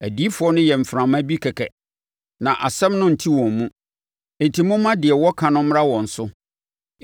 Adiyifoɔ no yɛ mframa bi kɛkɛ na asɛm no nte wɔn mu; enti momma deɛ wɔka no mmra wɔn so.”